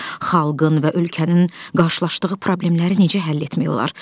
Xalqın və ölkənin qarşılaşdığı problemləri necə həll etmək olar?